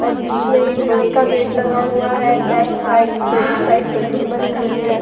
और बीच में एक लोहे का गेट लगा हुआ है। लेफ्ट राइट दोनों साइड बिल्डिंग बनी हुई हैं।